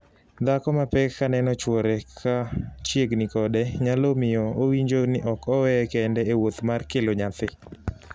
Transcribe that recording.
Dhako ma pek ka neno chwore ka chiegni kode nyalo miyo owinjo ni ok oweye kende e wuodh kelo nyathi.